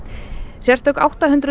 sérstök átta hundruð